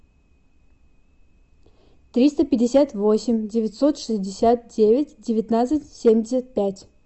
триста пятьдесят восемь девятьсот шестьдесят девять девятнадцать семьдесят пять